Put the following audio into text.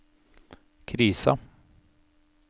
krisa